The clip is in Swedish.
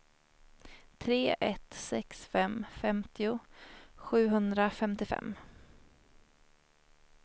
tre ett sex fem femtio sjuhundrafemtiofem